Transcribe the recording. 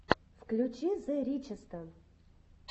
включи зе ричеста